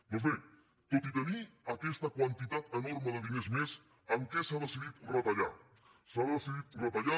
doncs bé tot i tenir aquesta quantitat enorme de diners més en què s’ha decidit retallar s’ha decidit retallar